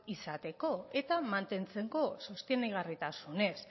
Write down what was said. izateko eta mantentzeko sostengarritasunez